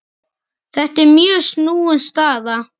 Þetta er mjög snúin staða.